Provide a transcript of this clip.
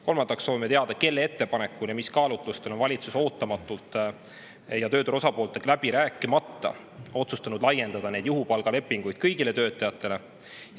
Kolmandaks soovime teada, kelle ettepanekul ja mis kaalutlustel on valitsus ootamatult ja tööturu osapooltega läbi rääkimata otsustanud laiendada neid juhupalgalepinguid kõigile töötajatele.